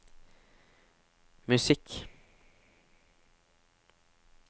musikk